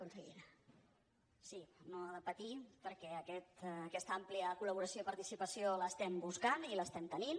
sí no ha de patir perquè aquesta àmplia col·laboració i participació l’estem buscant i l’estem tenint